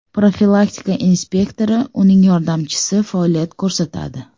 Profilaktika inspektori, uning yordamchisi faoliyat ko‘rsatadi.